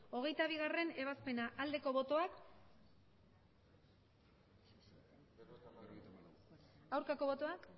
hogeita bigarrena ebazpena aldeko botoak aurkako botoak